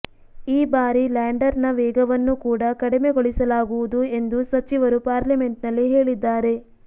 ಈ ಬಾರಿ ಲ್ಯಾಂಡರ್ ನ ವೇಗವನ್ನು ಕೂಡಾ ಕಡಿಮೆಗೊಳಿಸಲಾಗುವುದು ಎಂದು ಸಚಿವರು ಪಾರ್ಲಿಮೆಂಟ್ ನಲ್ಲಿ ಹೇಳಿದ್ದಾರೆ